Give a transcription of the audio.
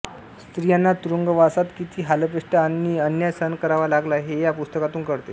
स्त्रियांना तुरुंगवासात किती हालअपेष्टा आणि अन्याय सहन करावा लागला हे या पुस्तकातून कळते